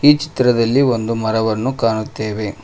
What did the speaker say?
ಈ ಚಿತ್ರದಲ್ಲಿ ಒಂದು ಮರವನ್ನು ಕಾಣುತ್ತೇವೆ.